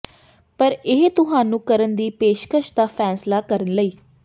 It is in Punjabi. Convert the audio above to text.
ਪਰ ਇਹ ਤੁਹਾਨੂੰ ਕਰਨ ਦੀ ਪੇਸ਼ਕਸ਼ ਦਾ ਫੈਸਲਾ ਕਰਨ ਲਈ